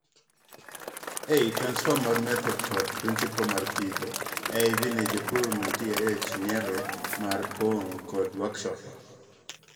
ei transfer mar method kod principle mar pidho AIVs ne jopur mantie ei chenro mar puonj kod workshop